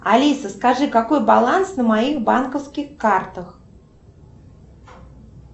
алиса скажи какой баланс на моих банковских картах